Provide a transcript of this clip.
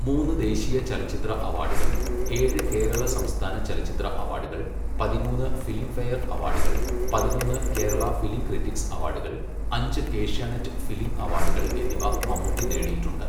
മൂന്ന് ദേശീയ ചലച്ചിത്ര അവാഡുകൾ, ഏഴ് കേരള സംസ്ഥാന ചലച്ചിത്ര അവാഡുകൾ, പതിമൂന്ന് ഫിലിംഫെയർ അവാഡുകൾ, പതിനൊന്ന് കേരള ഫിലിം ക്രിട്ടിക്സ് അവാഡുകൾ, അഞ്ച് ഏഷ്യാനെറ്റ് ഫിലിം അവാഡുകൾ എന്നിവ മമ്മൂട്ടി നേടിയിട്ടുണ്ട്.